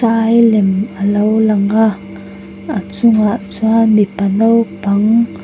sai lem a lo lang a a chungah chuan mipa naupang --